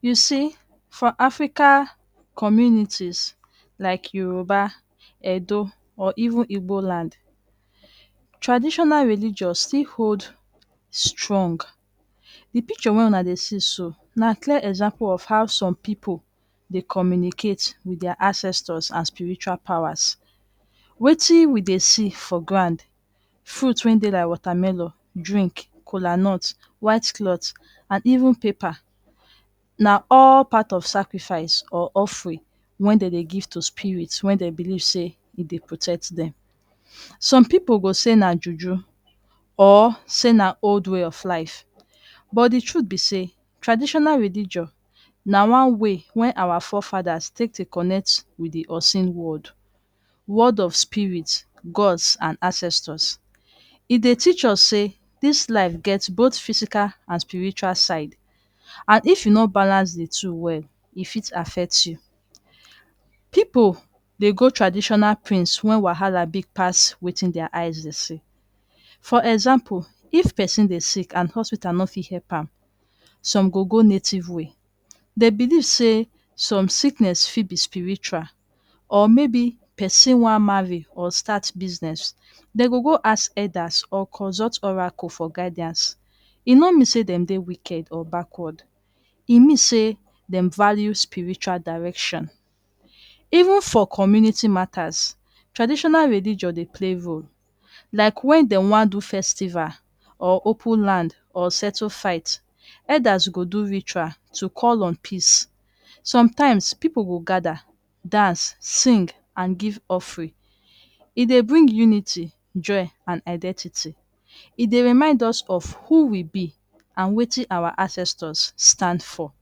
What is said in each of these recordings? You see for Africa communities like Yoruba, Edo, or even Igbo land, traditional religion still hold strong. Di picture wey una dey see so na clear example of how some pipu dey communicate with dia ancestors and spiritual powers. Wetin we dey see for ground, fruits wen dey like watermelon, drink, kolanut, white cloth and even paper na all part of sacrifice or offering wen dem dey give to spirit wen dey believe say e dey protect dem. Some pipu go say na juju, or say na old way of life but di truth be say traditional religion na one way wey our forefathers take dey connect with di unseen world, world of spirits, gods and ancestors. E dey teach us say dis life get both physical and spiritual side, and if you no balance di two well, e fit affect you. Pipu dey go traditional prince wen wahala big pass wetin dia eyes dey see. For example, if pesin dey sick and hospital no fit help am, some go go native way. Dey believe say some sickness fit be spiritual or maybe pesin wan marry or start business, dem go go ask elders or consult oracle for guidance. E no mean say dem dey wicked or backwards, e mean say dem value spiritual direction. Even for community matters, traditional religion dey play role like wen dem wan do festival, or open land or settle fight. Elders go do ritual to call on peace. Sometimes, pipu go gather dance, sing and give offering. E dey bring unity, joy and identity. E dey remind us of who we be and wetin awa ancestors stand for.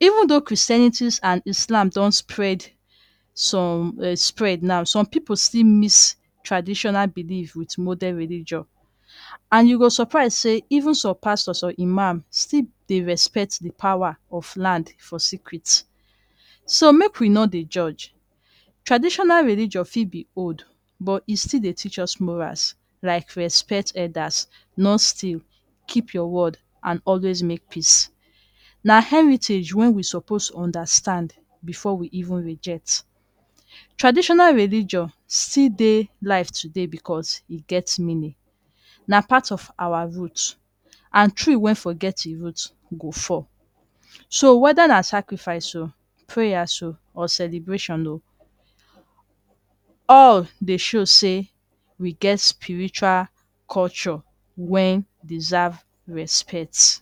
Even tho Christianities and Islam don spread, some um spread now, some pipu still miss traditional belief with modern religion. And you go suprise say even some pastors some imam still dey respect di power of land for secret. So make we no dey judge. Traditional religion fit be old but e still dey teach us morals like respect elders, not steal, keep your word, and always make peace. Na heritage wen we suppose understand before we even reject. Traditional religion still dey live today becos e get meaning. Na part of awa root, and tree wen forget im root go fall. So whether na sacrifice, prayers, or celebration, all dey show say, we get spiritual culture wen deserve respect.